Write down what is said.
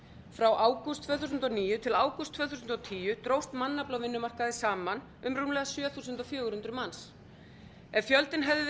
frá ágúst tvö þúsund og níu til ágúst tvö þúsund og tíu dróst mannafli á vinnumarkaði saman um rúmlega sjö þúsund fjögur hundruð manns ef fjöldinn hefði verið